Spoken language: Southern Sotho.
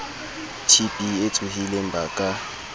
tb e tsohileng ba ka